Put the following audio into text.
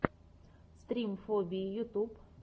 стрим фобии ютуб